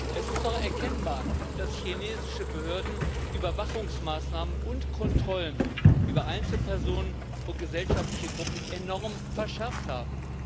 Es ist doch erkennbar, dass chinesische Behörden Überwachungsmaßnahmen und Kontrollen über Einzelpersonen und gesellschaftliche Gruppen enorm verschärft haben.